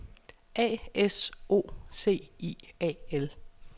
A S O C I A L